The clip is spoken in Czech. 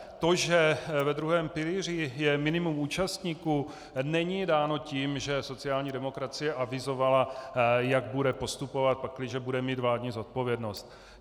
To, že ve druhém pilíři je minimum účastníků, není dáno tím, že sociální demokracie avizovala, jak bude postupovat, pakliže bude mít vládní zodpovědnost.